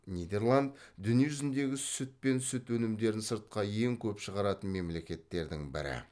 нидерланд дүние жүзіндегі сүт пен сүт өнімдерін сыртқа ең көп шығаратын мемлекеттердің бірі